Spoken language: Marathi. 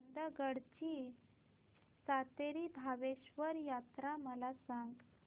चंदगड ची सातेरी भावेश्वरी यात्रा मला सांग